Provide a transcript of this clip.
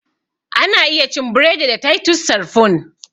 Ana iya cin buredi da titus sarfun